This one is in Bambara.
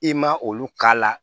I ma olu k'a la